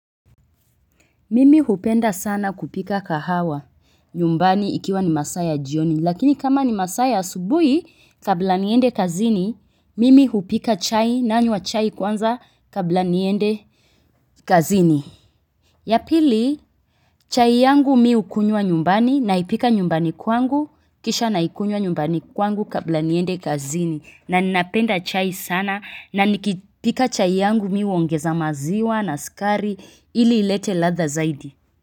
Mimi hupenda sana kupika kahawa nyumbani ikiwa ni masaa ya jioni, lakini kama ni masaa ya asubuhi. Kabla niende kazini, mimi hupika chai; nanywa chai kwanza kabla niende kazini. Ya pili, chai yangu mi hukunywa nyumbani, naipika nyumbani kwangu, kisha naikunywa nyumbani kwangu kabla niende kazini, na ninapenda chai sana, na nikipika chai yangu mi huongeza maziwa na uskari, ili ilete ladha zaidi.